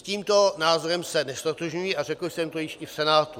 S tímto názorem se neztotožňuji a řekl jsem to již i v Senátu.